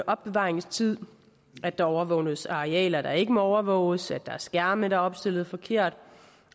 opbevaringstid at der overvåges arealer der ikke må overvåges at der er skærme der er opstillet forkert